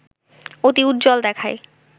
অতি উজ্জ্বল দেখায়